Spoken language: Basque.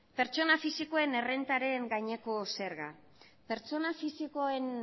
pertsona fisikoen errentaren gaineko zerga pertsona fisikoen